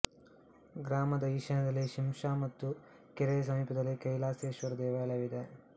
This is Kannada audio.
ಗ್ರಾಮದ ಈಶಾನ್ಯದಲ್ಲಿ ಶಿಂಷಾ ಮತ್ತು ಕೆರೆಯ ಸಮೀಪದಲ್ಲಿ ಕೈಲಾಸೇಶ್ವರ ದೇವಾಲಯವಿದೆ